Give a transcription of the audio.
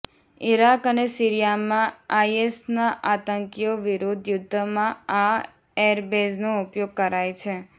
Iraq અને સીરિયામાં આઈએસના આતંકીઓ વિરુદ્ધ યુદ્ધમાં આ એરબેઝનો ઉપયોગ કરાય છે